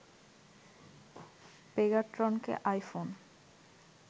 পেগাট্রনকে iPhone